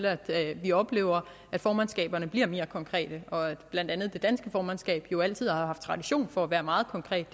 at vi oplever at formandskaberne bliver mere konkrete og at blandt andet det danske formandskab jo altid har haft tradition for at være meget konkret